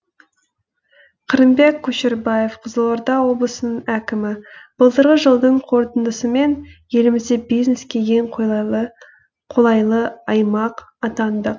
қырымбек көшербаев қызылорда облысының әкімі былтырғы жылдың қорытындысымен елімізде бизнеске ең қолайлы аймақ атандық